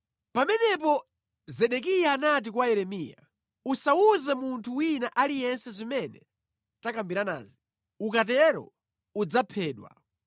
Pamenepo Zedekiya anati kwa Yeremiya, “Usawuze munthu wina aliyense zimene takambiranazi, ukatero udzaphedwa.